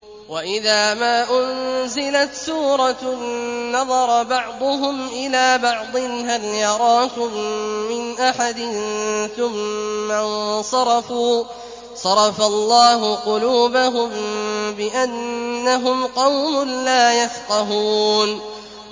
وَإِذَا مَا أُنزِلَتْ سُورَةٌ نَّظَرَ بَعْضُهُمْ إِلَىٰ بَعْضٍ هَلْ يَرَاكُم مِّنْ أَحَدٍ ثُمَّ انصَرَفُوا ۚ صَرَفَ اللَّهُ قُلُوبَهُم بِأَنَّهُمْ قَوْمٌ لَّا يَفْقَهُونَ